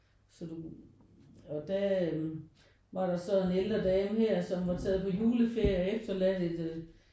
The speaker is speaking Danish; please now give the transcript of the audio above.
Så du og der øh var der så en ældre dame her som var taget på juleferie og efterladt et